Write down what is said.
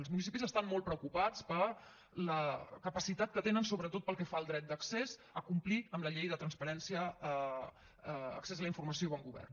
els municipis estan molt preocupats per la capacitat que tenen sobretot pel que fa al dret d’accés a complir amb la llei de transparència accés a la informació i bon govern